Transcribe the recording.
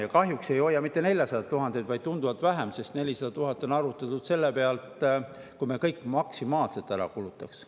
Ja kahjuks ei hoia me kokku mitte 400 000 eurot, vaid tunduvalt vähem, sest 400 000 eurot on arvutatud selle pealt, kui me kõik maksimaalselt ära kulutaks.